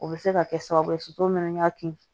O bɛ se ka kɛ sababu ye so mana kin